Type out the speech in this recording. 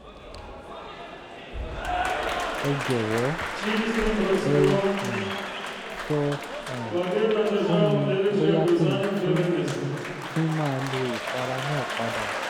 ẹ jọ̀wọ́ ẹ um sọ um fún mi bóyá kí n tún tún máa lo ìpara náà padà